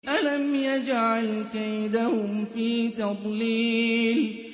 أَلَمْ يَجْعَلْ كَيْدَهُمْ فِي تَضْلِيلٍ